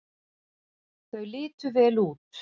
Þau litu vel út.